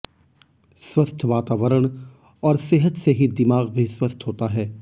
स्वस्थ वातावरण और सेहत से ही दिमाग भी स्वस्थ होता है